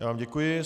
Já vám děkuji.